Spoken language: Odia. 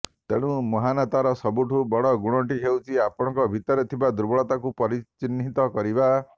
ତେଣୁ ମହାନତାର ସବୁଠୁ ବଡ଼ ଗୁଣଟି ହେଉଛି ଆପଣଙ୍କ ଭିତରେ ଥିବା ଦୁର୍ବଳତାକୁ ପରିଚିହ୍ନିତ କରିବା